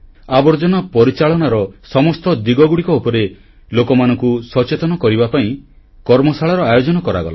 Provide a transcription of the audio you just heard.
ବର୍ଜ୍ୟବସ୍ତୁ ପରିଚାଳନାର ସମସ୍ତ ଦିଗଗୁଡ଼ିକ ଉପରେ ଲୋକମାନଙ୍କୁ ସଚେତନ କରିବା ପାଇଁ କର୍ମଶାଳାର ଆୟୋଜନ କରାଗଲା